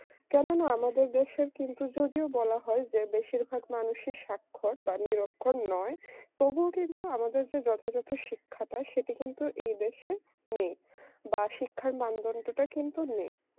কেননা আমাদের দেশের কিন্তু যদিও বলা হয় যে বেশিরভাগ মানুষই স্বাক্ষর বা নিরক্ষর নয় তবুও কিন্তু আমাদের যে যথাযথ শিক্ষাটা সেটি কিন্তু এই দেশে নেই বা শিক্ষার মানদণ্ডটা কিন্তু নেই